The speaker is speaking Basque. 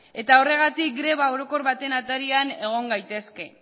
eta horregatik greba orokor baten atarian egon gaitezke